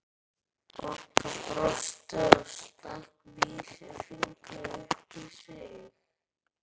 Bogga brosti og stakk vísifingri upp í sig.